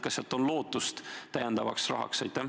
Kas on lootust saada sealt täiendavat raha?